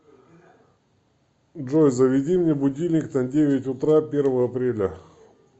джой заведи мне будильник на девять утра первого апреля